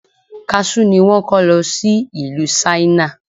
Kaṣú ni wón kọ́ lo sí ìlú Ṣáínà.